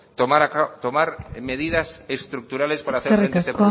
tomar medidas estructurales para hacer frente a este